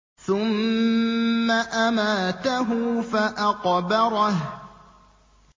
ثُمَّ أَمَاتَهُ فَأَقْبَرَهُ